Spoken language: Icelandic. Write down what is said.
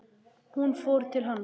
Hún fór til hans.